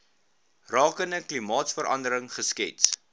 rakende klimaatsverandering geskets